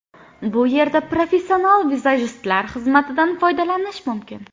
Bu yerda professional vizajistlar xizmatidan foydalanish mumkin.